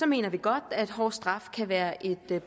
mener vi godt at hårde straffe kan være et